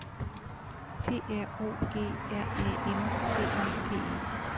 P R O G R A M T Y P E